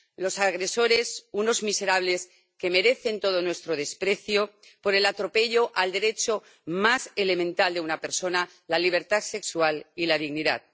Los agresores, unos miserables que merecen todo nuestro desprecio por el atropello al derecho más elemental de una persona, la libertad sexual y la dignidad.